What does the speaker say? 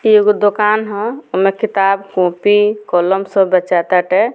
इ एगो दुकान हअ ओय में किताब कॉपी कलम सब बेंचा ताटे।